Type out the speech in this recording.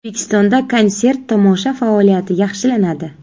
O‘zbekistonda konsert-tomosha faoliyati yaxshilanadi.